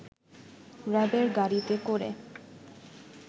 র‌্যাবের গাড়িতে করে